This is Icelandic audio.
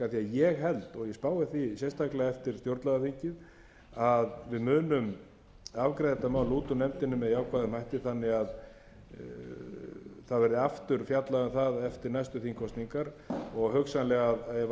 ég spái því sérstaklega eftir stjórnlagaþingið að við munum afgreiða þetta mál út úr nefndinni með jákvæðum hætti þannig að það verði aftur fjallað um það eftir næstu þingkosningar og hugsanlega ef alþingi